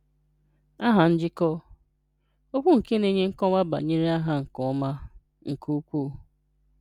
Aha Njikọ: Okwu nke na-enye nkọwa banyere aha nke ọma, nke ukwuu.